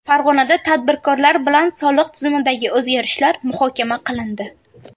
Farg‘onada tadbirkorlar bilan soliq tizimidagi o‘zgarishlar muhokama qilindi.